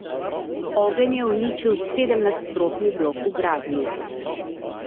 Ogenj je uničil sedemnadstropni blok v gradnji.